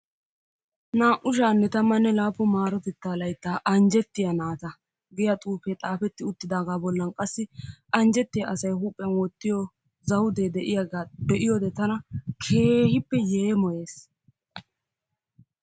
Naa''u shaa'anne tammanne laappun maarotettea layttan anjjetiyaa naata giyaa xuufe xaafeti uttidaaga bollan qassi anjjettiya asay huuphiyaan wottiyo zawudee de'iyaaga be'iyoode tana keehippe yeemmoyees.